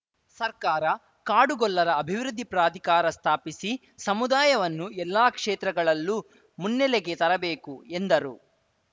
ಸರ್ಕಾರ ಕಾಡುಗೊಲ್ಲರ ಅಭಿವೃದ್ಧಿ ಪ್ರಾಧಿಕಾರ ಸ್ಥಾಪಿಸಿ ಸಮುದಾಯವನ್ನು ಎಲ್ಲಾ ಕ್ಷೇತ್ರಗಳಲ್ಲೂ ಮುನ್ನೆಲೆಗೆ ತರಬೇಕು ಎಂದರು